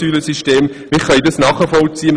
Wir können diese Lösung nachvollziehen.